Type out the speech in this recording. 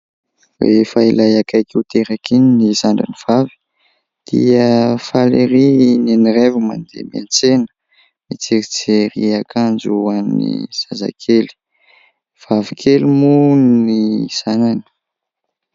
Rehefa ilay akaiky ho teraka iny zandriny vavy dia faly erÿ i Neniraivo mandeha miantsena, hijerijery akanjo ho an'ny zazakely. Vavy kely moa ny zanany.